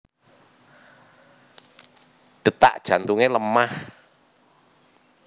Detak jantunge lemah